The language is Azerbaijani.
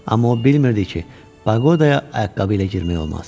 Amma o bilmirdi ki, paqodaya ayaqqabı ilə girmək olmaz.